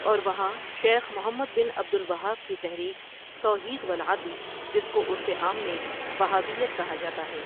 اور وہاں شیخ محمد بن عبد الوہاب کی تحریک توحید والعدل جس کو عرف عام میں وہابیت کہا جاتا ہے۔